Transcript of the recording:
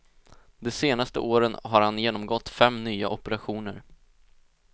De senaste åren har han genomgått fem nya operationer.